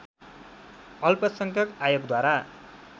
अल्पसंख्यक आयोगद्वारा